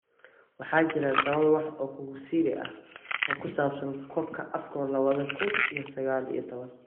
Waxaa jira tawan wax oo kugu siri ah oo ku saabsan kupka Afcon lawadha kun iyo saqal iyo tawan.